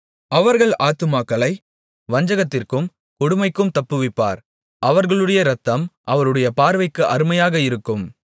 அவர்கள் ஆத்துமாக்களை வஞ்சகத்திற்கும் கொடுமைக்கும் தப்புவிப்பார் அவர்களுடைய இரத்தம் அவருடைய பார்வைக்கு அருமையாக இருக்கும்